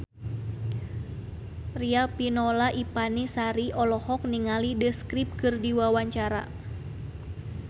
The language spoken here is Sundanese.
Riafinola Ifani Sari olohok ningali The Script keur diwawancara